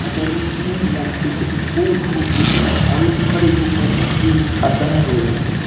রাধাকৃষ্ণের মূর্তিতে ফুল ও বিভিন্ন অলংকারিক উপাদান দিয়ে সাজানো রয়েছে।